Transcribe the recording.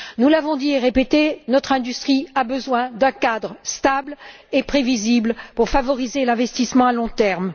Nous l'avons dit et répété, notre industrie a besoin d'un cadre stable et prévisible pour favoriser l'investissement à long terme.